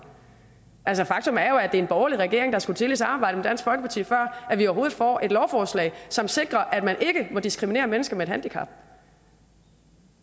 faktum er jo at det er en borgerlig regering der skulle til i samarbejde med dansk folkeparti før vi overhovedet får et lovforslag som sikrer at man ikke må diskriminere mennesker med et handicap